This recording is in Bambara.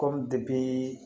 Kɔmi depi